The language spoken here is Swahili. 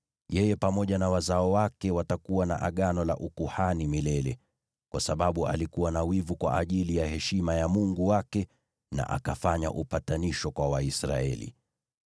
Yeye pamoja na wazao wake watakuwa na Agano la ukuhani milele, kwa sababu alikuwa na wivu kwa ajili ya heshima ya Mungu wake, na akafanya upatanisho kwa Waisraeli.”